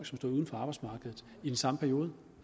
stod uden for arbejdsmarkedet i den samme periode